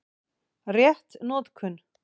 Rétt notkun